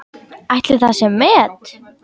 Ætli það sé met?